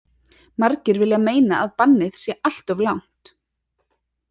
Margir vilja meina að bannið sé alltof langt.